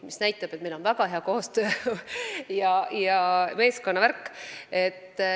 See näitab, et meil on väga hea koostöö ja meeskonnavärk.